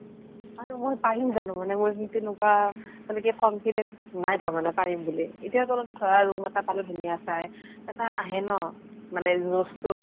আৰু মই পাৰিম জানো মানে মই তেনেকুৱা মানে কি confidence নাই তাৰ মানে পাৰিম বুলি। এতিয়া তলত ধৰা room এটা পালে ধুনীয়া চাই, এটা আহে ন জচ্টো